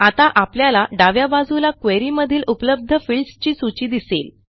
आता आपल्याला डाव्या बाजूला क्वेरी मधील उपलब्ध फील्ड्स ची सूची दिसेल